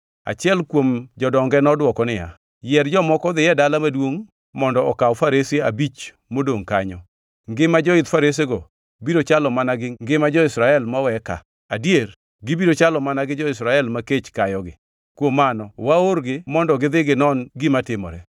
Achiel kuom jodonge nodwoko niya, “Yier jomoko odhi e dala maduongʼ mondo okaw farese abich modongʼ kanyo. Ngima joidh faresego biro chalo mana gi ngima jo-Israel mowe ka; adier, gibiro chalo mana gi jo-Israel ma kech kayogi. Kuom mano waorgi mondo gidhi ginon gima timore.”